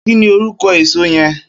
Kini órúkò ésó yèn?